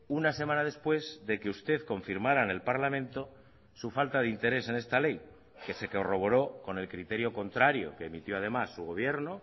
una semana después de que usted confirmará en el parlamento su falta de interés en esta ley que se corroboró con el criterio contrario que emitió además su gobierno